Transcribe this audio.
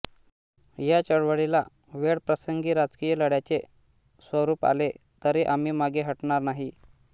या चळवळीला वेळप्रसंगी राजकीय लढ्याचे स्वरूप आले तरी आम्ही मागे हटणार नाही